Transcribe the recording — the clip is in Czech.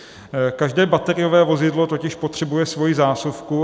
Každé bateriové vozidlo totiž potřebuje svoji zásuvku.